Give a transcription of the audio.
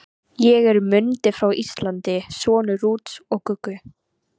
Ég er Mundi frá Íslandi, sonur Rúts og Guggu.